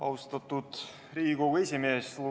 Austatud Riigikogu esimees!